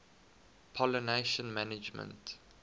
pollination management